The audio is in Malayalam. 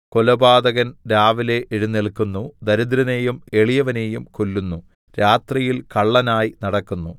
കൊലപാതകൻ രാവിലെ എഴുന്നേല്ക്കുന്നു ദരിദ്രനെയും എളിയവനെയും കൊല്ലുന്നു രാത്രിയിൽ കള്ളനായി നടക്കുന്നു